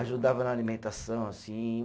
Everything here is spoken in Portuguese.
Ajudava na alimentação, assim.